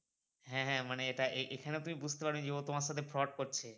হ্যাঁ হ্যাঁ মানে এটা এখানেও তুমি বুঝতে পারি যে ও তোমার সাথে fraud করছে